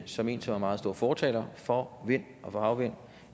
som en som er meget stor fortaler for vind og havvind